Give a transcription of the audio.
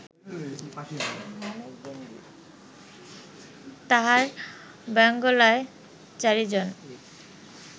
তাঁহার বাঙ্গলায় চারিজন